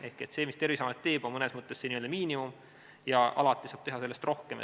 Ehk see, mis Terviseamet teeb, on mõnes mõttes selline miinimum, alati saab teha sellest rohkem.